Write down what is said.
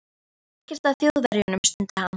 Það er ekkert að Þjóðverjum stundi hann.